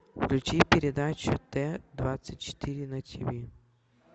включи передачу т двадцать четыре на тв